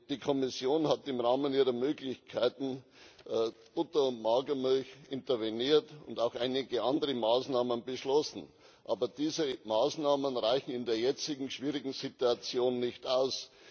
Die Kommission hat im Rahmen ihrer Möglichkeiten bei Butter und Magermilch interveniert und auch einige andere Maßnahmen beschlossen, aber diese Maßnahmen reichen in der jetzigen schwierigen Situation nicht aus.